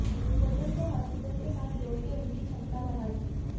hotel को hospital के साथ जोड़कर उनकी क्षमता बढ़ाई